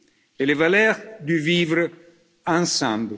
et les valeurs du vivre ensemble.